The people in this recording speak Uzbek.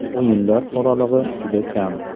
O‘yinlar oralig‘i juda kam.